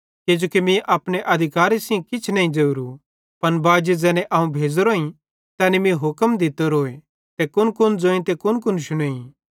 किजोकि मीं अपने अधिकारे सेइं किछ नईं ज़ोरू पन बाजी ज़ैने अवं भेज़ोरोईं तैनी मीं हुक्म दित्तोरोए कि कुनकुन ज़ोईं ते कुनकुन शुनेईं